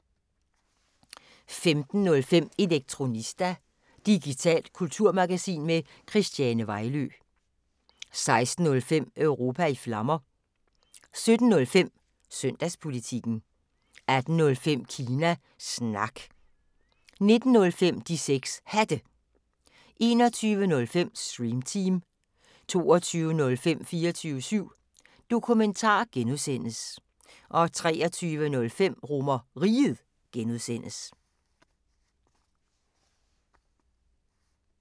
15:05: Elektronista – digitalt kulturmagasin med Christiane Vejlø 16:05: Europa i Flammer 17:05: Søndagspolitikken 18:05: Kina Snak 19:05: De 6 Hatte 21:05: Stream Team 22:05: 24syv Dokumentar (G) 23:05: RomerRiget (G)